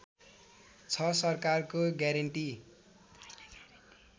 छ सरकारको ग्यारेन्टी